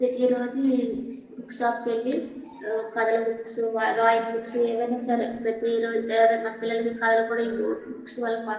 రోజు book shop కి వెళ్లి కదిలి బుక్స్ డ్రాయింగ్ బుక్స్ ఎవరైనా పిల్లలు కూడా --